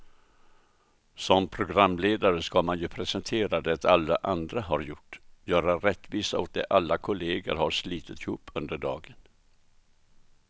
Som programledare ska man ju presentera det alla andra har gjort, göra rättvisa åt det alla kollegor har slitit ihop under dagen.